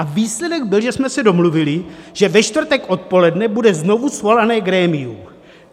A výsledek byl, že jsme se domluvili, že ve čtvrtek odpoledne bude znovu svoláno grémium.